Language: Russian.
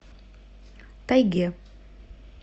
тайге